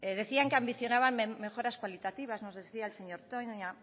decían que ambicionaban mejoras cualitativas nos decía el señor toña